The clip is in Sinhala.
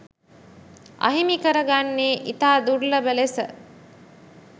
අහිමි කරගන්නේ ඉතා දුර්ලභ ලෙස